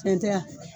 Cɛn tɛ yan